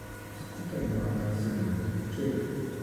Skupaj imata sedemletno hčer.